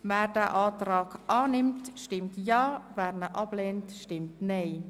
Wer den Antrag annimmt, stimmt Ja, wer diesen ablehnt, stimmt Nein.